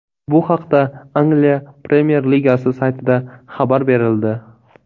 Bu haqda Angliya premyer ligasi saytida xabar berildi .